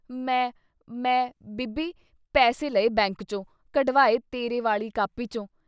“ਮੈਂ…. ਮੈਂ…. ਬੀਬੀ…. ਪੈਸੇ ਲਏ ਬੈਂਕ ਚੋਂ, ਕਢਵਾਏ ਤੇਰੇ ਵਾਲੀ ਕਾਪੀ ਚੋਂ।